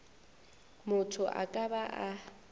motho a ka ba a